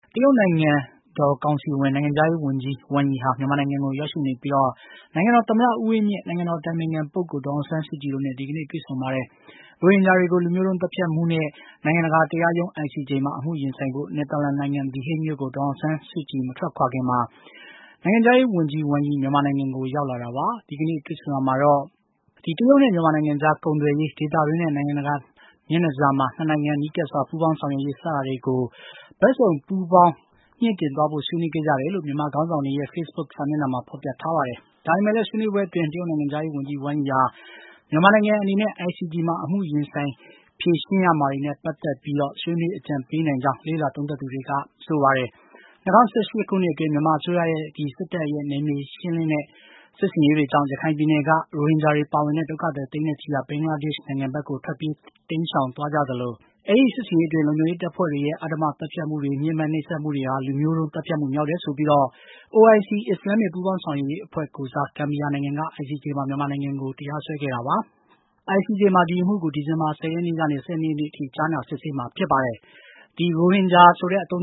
တရုတ်နိုင်ငံတော်ကောင်စီဝင်နဲ့ နိုင်ငံခြားရေးဝန်ကြီး ဝမ်ယိဟာ မြန်မာနိုင်ငံကို ရောက်ရှိနေပြီး နိုင်ငံတော်သမ္မတ ဦးဝင်းမြင့်၊ နိုင်ငံတော် အတိုင်ပင်ခံပုဂ္ဂိုလ် ဒေါ်အောင်ဆန်းစုကြည်တို့နဲ့ ဒီကနေ့ တွေ့ဆုံပါတယ်။ ရိုဟင်ဂျာတွေကို လူမျိုးတုံးသတ်ဖြတ်မှုနဲ့ နိုင်ငံတကာတရားရုံး (ICJ) မှာ အမှုရင်ဆိုင်ဖို့ နယ်သာလန်နိုင်ငံ The Hague မြို့ကို ဒေါ်အောင်ဆန်းစုကြည် မထွက်ခွာခင်မှာ နိုင်ငံခြားရေးဝန်ကြီး ဝမ်ယိ မြန်မာနိုင်ငံကို ရောက်လာတာပါ။ ဒီကနေ့ တွေ့ဆုံရာမှာတော့ တရုတ်နဲ့ မြန်မာနိုင်ငံကြား ကုန်သွယ်ရေး၊ ဒေသတွင်းနဲ့ နိုင်ငံတကာ မျက်နှာစာမှာ ၂ နိုင်ငံ နီးကပ်စွာ ပူးပေါင်းဆောင်ရွက်ရေး စတာတွေကို ဘက်စုံ ပူးပေါင်းမြှင့်တင်သွားဖို့ ဆွေးနွေးခဲ့ကြတယ်လို့ မြန်မာခေါင်းဆောင်တွေရဲ့ Facebook စာမျက်နှာမှာ ဖော်ပြထားပါတယ်။ ဒါပေမယ့်လည်း ဆွေးနွေးပွဲအတွင်း တရုတ်နိုင်ငံခြားရေးဝန်ကြီး ဝမ်ယိဟာ မြန်မာနိုင်ငံအနေနဲ့ ICJ မှာ အမှုရင်ဆိုင် ဖြေရှင်းရမှာတွေနဲ့ ပတ်သက်ပြီး ဆွေးနွေးအကြံပေးနိုင်ကြောင်း လေ့လာသူတွေက သုံးသပ်ပါတယ်။ ၂၀၁၈ ခုနှစ်အတွင်း မြန်မာအစိုးရ စစ်တပ်ရဲ့ နယ်မြေရှင်းလင်းတဲ့ စစ်ဆင်ရေးတွေကြောင့် ရခိုင်ပြည်နယ်က ရိုဟင်ဂျာတွေ ပါဝင်တဲ့ ဒုက္ခသည် သိန်းနဲ့ချီဟာ ဘင်္ဂလားဒေ့ရှ်နိုင်ငံဘက်ကို ထွက်ပြေးတိမ်းရှောင်သွားကြရသလို အဲဒီစစ်ဆင်ရေးအတွင်း လုံခြုံရေးတပ်ဖွဲ့တွေရဲ့ အဓမ္မ သတ်ဖြတ်မှုတွေ၊ ညှဉ်းပန်းနှိပ်စက်မှုတွေဟာ လူမျိုးတုံးသတ်ဖြတ်မှု မြောက်တယ်ဆိုပြီး OIC အစ္စလာမ္မစ် ပူးပေါင်းဆောင်ရေးအဖွဲ့ ကိုယ်စား ဂမ်ဘီယာနိုင်ငံက ICJ မှာ မြန်မာနိုင်ငံကို တရားစွဲခဲ့တာပါ။ ICJ မှာ ဒီအမှုကို ဒီဇင်ဘာ ၁၀ ရက်နေ့ကနေ ၁၂ ရက်နေ့အထိ ကြားနာစစ်ဆေးမှာ ဖြစ်ပါတယ်။ ရိုဟင်ဂျာဆိုတဲ့ အသုံး